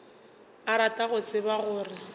a rata go tseba gore